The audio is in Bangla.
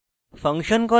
function call করা